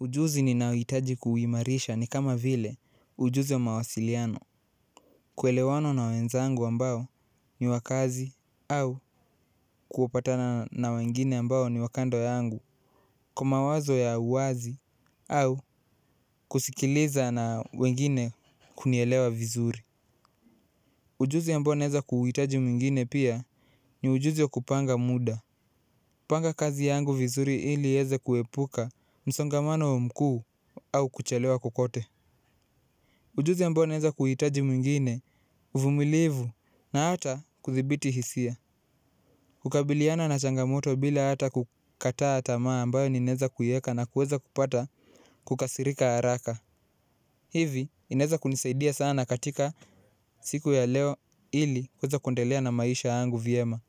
Ujuzi ninaohitaji kuuimarisha ni kama vile ujuzi wa mawasiliano. Kuelewana na wenzangu ambao ni wakazi au kupatana na wengine ambao ni wa kando yangu. Kwa mawazo ya uwazi au kusikiliza na wengine kunielewa vizuri. Ujuzi ambao naweza kuhitaji mwingine pia ni ujuzi wa kupanga muda. Panga kazi yangu vizuri ili iweze kuepuka msongamano mkuu au kuchelewa kokote. Ujuzi ambao naweza kuhitaji mwingine, uvumilivu, na hata kudhibiti hisia. Kukabiliana na changamoto bila hata kukata tamaa ambayo ninaweza kuiweka na kuweza kupata kukasirika haraka. Hivi, inaweza kunisaidia sana katika siku ya leo ili kuweza kuendelea na maisha yangu vyema.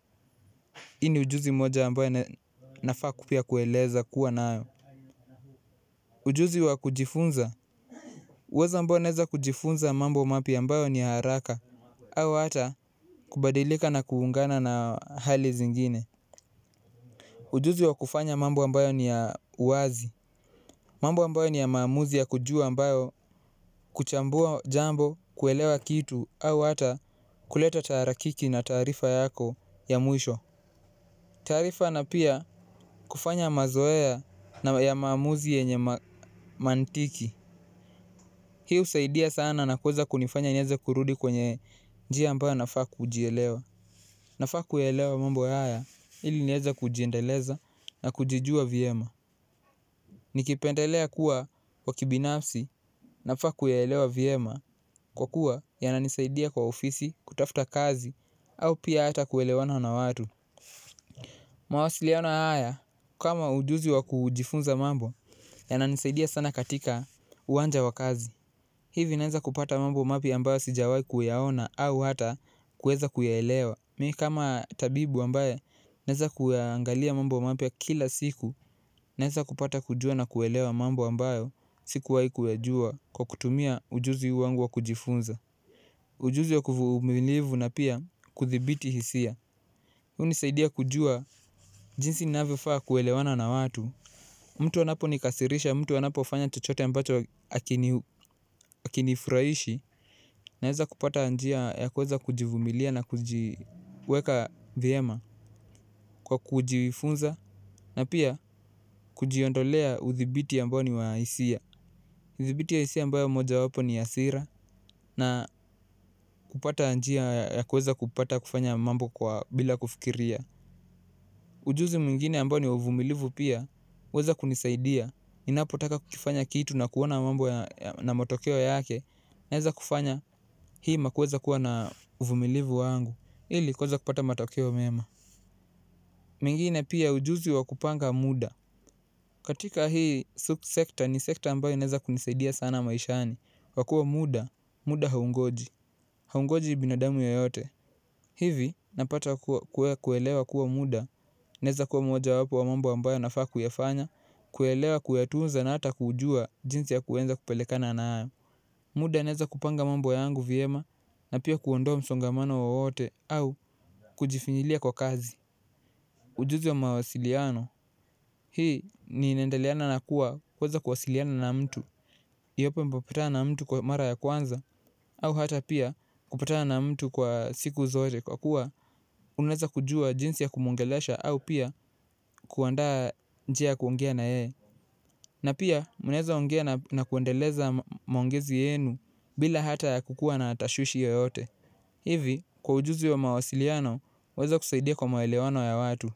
Hii ujuzi mmoja ambayo nafaa pia kueleza kuwa nayo. Ujuzi wa kujifunza, uwezo ambao naweza kujifunza mambo mapya ambayo ni haraka, au hata kubadilika na kuungana na hali zingine ujuzi wa kufanya mambo ambayo ni ya uwazi, mambo ambayo ni ya maamuzi ya kujua ambayo kuchambua jambo kuelewa kitu, au hata kuleta taharakiki na taarifa yako ya mwisho taarifa na pia kufanya mazoea ya maamuzi yenye mantiki hii husaidia sana na kuweza kunifanya niweze kurudi kwenye njia ambayo inafaa kujielewa nafaa kuyaelewa mambo haya ili niweze kujiendeleza na kujijua vyema nikipendelea kuwa binafsi, nafaa kuyaelewa vyema kwakuwa yananisaidia kwa ofisi kutafta kazi au pia hata kuelewana na watu mawasiliano haya kama ujuzi wa kujifunza mambo, yananisaidia sana katika uwanja wa kazi hivi naweza kupata mambo mapya ambayo sijwahi kuyaona au hata kuweza kuyaelewa mimi kama tabibu ambaye naweza kuyaangalia mambo mapya kila siku naweza kupata kujua na kuelewa mambo ambayo sikuwahi kuyajua kwa kutumia ujuzi wangu wa kujifunza ujuzi wa uvumilivu na pia kudhibiti hisia hunisaidia kujua jisi inavyofaa kuelewana na watu mtu anaponikasirisha mtu anapofanya chochote ambacho hakinifurahishi naweza kupata njia ya kuweza kujivumilia na kujiweka vyema kwa kujifunza na pia kujiondolea udhibiti ambao ni wa hisia udhibiti wa hisia ambayo moja wapo ni hasira na kupata njia ya kuweza kupata kufanya mambo bila kufikiria ujuzi mwingine ambao ni wa uvumilivu pia huweza kunisaidia ninapotaka kukifanya kitu na kuona mambo na matokeo yake naweza kufanya hima kuweza kuwa na uvumilivu wangu ili kuweza kupata matokeo mema mwingine pia ujuzi wa kupanga muda, katila hii sekta ni sekta ambayo inaweza kunisaidia sana maishani kwa kuwa muda haungoji, haungoji binadamu yoyote hivi napata kuelewa kuwa muda naweza kuwa mojawapo ya mambo ambayo nafaa kuyafanya kuyaelewa kuyatunza na hata kujua jinsi ya kuweza kupelekana nayo muda naweza kupanga mambo yangu vyema na pia kuondoa msongamano wowote au kujifinyilia kwa kazi ujuzi wa mawasiliano hii ni inaendeleana na kuwa kuweza kuwasiliana na mtu iwepo umekutana na mtu kwa mara ya kwanza au hata pia kupatana na mtu kwa siku zote kwa kuwa unaweza kujua jinsi ya kumuongelesha au pia kuandaa njia ya kuongea na yeye na pia mnaweza ongea na kuendeleza maongezi yenu bila hata ya kuwa na tashwishwi yoyote hivi kwa ujuzi wa mawasiliano waweza kusaidia kwa maelewano ya watu.